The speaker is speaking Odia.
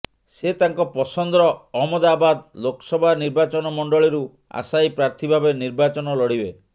ସେ ତାଙ୍କ ପସନ୍ଦର ଅହମ୍ମଦାବାଦ୍ ଲୋକସଭା ନିର୍ବାଚନ ମଣ୍ଡଳୀରୁ ଆଶାୟୀ ପ୍ରାର୍ଥୀ ଭାବେ ନିର୍ବାଚନ ଲଢ଼ିବେ